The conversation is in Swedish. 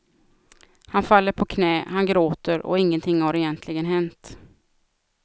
Han faller på knä, han gråter och ingenting har egentligen hänt.